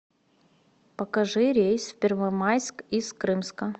покажи рейс в первомайск из крымска